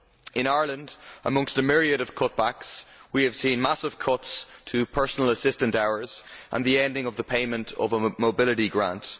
In Ireland, amongst a myriad of cutbacks, we have seen massive cuts to personal assistant hours and the ending of the payment of a mobility grant.